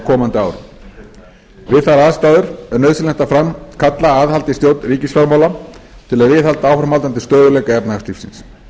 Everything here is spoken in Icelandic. komandi árum við þær aðstæður er nauðsynlegt að framkalla aðhald í stjórn ríkisfjármála til að viðhalda áframhaldandi stöðugleika efnahagslífsins